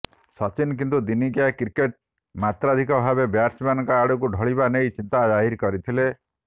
ସଚିନ କିନ୍ତୁ ଦିନିକିଆ କ୍ରିକେଟ୍ ମାତ୍ରାଧିକ ଭାବେ ବ୍ୟାଟ୍ସମ୍ୟାନଙ୍କ ଆଡ଼କୁ ଢଳିବା ନେଇ ଚିନ୍ତା ଜାହିର କରିଥିଲେ